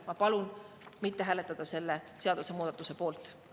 Ma palun mitte hääletada selle seadusemuudatuse poolt!